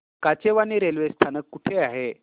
Kachewani railway स्थानक कुठे आहे